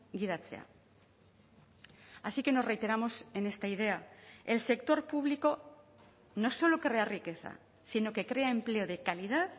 gidatzea así que nos reiteramos en esta idea el sector público no solo crea riqueza sino que crea empleo de calidad